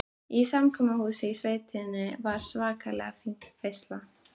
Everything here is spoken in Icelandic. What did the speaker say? Í samkomuhúsinu í sveitinni var svakalega fín veisla.